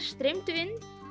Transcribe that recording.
streymdu inn